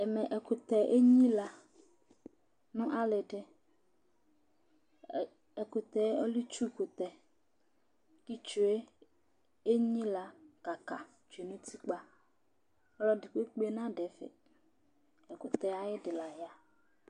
ɛmɛ ɛkutɛ ényila nu alidi ɛkutẽ ɔlẽ itsu kutɛ Ƙu itsué ényila kăkă tsué nu utikpa Ɔlu ẽdi kpékpé nadu ɛfẽ ɛkutɛ ayidi la ya